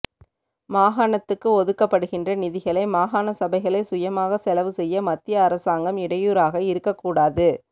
மாகாணத்துக்கு ஒதுக்கப்படுகின்ற நிதிகளை மாகாணசபைகளே சுயமாக செலவுசெய்ய மத்திய அரசாங்கம் இடையூறாக இருக்கக்கூடாது